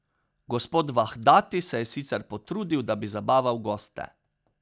Gospod Vahdati se je sicer potrudil, da bi zabaval goste.